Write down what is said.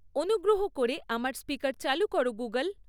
অনুগ্রহ করে আমার স্পিকার চালু করো গুগল্